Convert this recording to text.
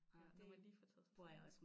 Ja når man lige får taget sig sammen